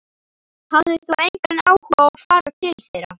Hafðir þú engan áhuga á að fara til þeirra?